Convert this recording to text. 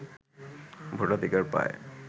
ভোটাধিকার পায়